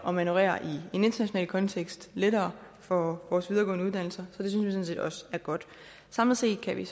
at manøvrere i en international kontekst lettere for vores videregående uddannelser så det synes vi også er godt samlet set kan vi